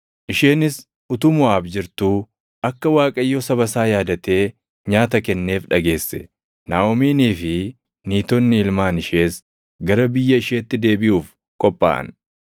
Isheenis utuu Moʼaab jirtuu akka Waaqayyo saba isaa yaadatee nyaata kenneef dhageesse; Naaʼomiinii fi Niitonni ilmaan ishees gara biyya isheetti deebiʼuuf qophaaʼan.